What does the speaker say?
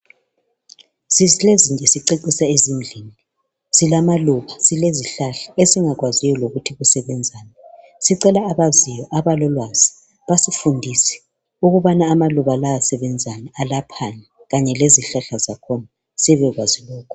Emakhaya ethu silamaluba lezihlahla esingaziyo ukuthi zisebenza njani .Sicela abayaziyo, abalolwazi basifundise ukuthi amaluba lezihlahla lezi ziyelaphani ukwenzela ukuthi sibe lolwazi.